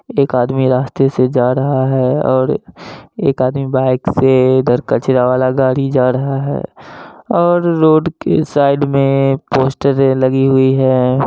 एक आदमी रास्ते से जा रहा है और एक आदमी बाइक से उधर कचरा वाला गाड़ी जा रहा है और रोड के साइड में पोस्टरे लगी हुई है।